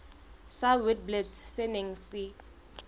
sa witblits se neng se